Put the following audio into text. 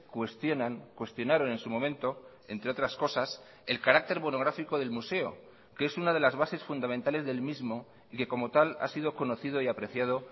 cuestionan cuestionaron en su momento entre otras cosas el carácter monográfico del museo que es una de las bases fundamentales del mismo y que como tal ha sido conocido y apreciado